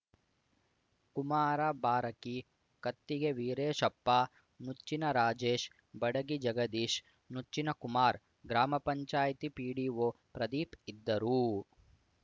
ಕುಮಾರ ಬಾರಕಿ ಕತ್ತಿಗೆ ವೀರೇಶಪ್ಪ ನುಚ್ಚಿನ ರಾಜೇಶ್‌ ಬಡಗಿ ಜಗದೀಶ್ ನುಚ್ಚಿನ ಕುಮಾರ್ ಗ್ರಾಮ ಪಂಚಾಯತಿ ಪಿಡಿಒ ಪ್ರದೀಪ್‌ ಇದ್ದರು